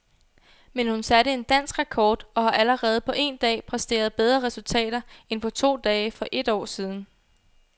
Men hun satte en dansk rekord og har allerede på en dag præsteret bedre resultater end på to dage for et år siden.